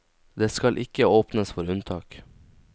Det skal ikke åpnes for unntak.